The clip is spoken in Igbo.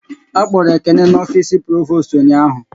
A kpọrọ Ekene n'ofisi Provost ụnyaahụ